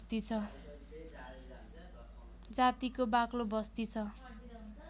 जातिको बाक्लो बस्ती छ